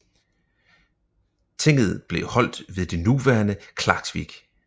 Tinget blev holdt ved det nuværende Klaksvík